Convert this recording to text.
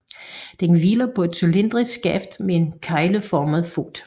Den hviler på et cylindrisk skaft med en kegleformet fod